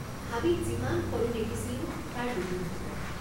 হাবিত যিমান সৰু দেখিছিলো তাৰ দুগুণ হব।